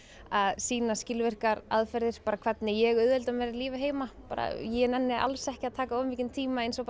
að sýna skilvirkar aðferðir bara hvernig ég auðvelda mér lífið heima bara ég nenni alls ekki að taka of mikinn tíma eins og bara